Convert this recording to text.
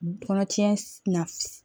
Kɔnɔtiɲɛ na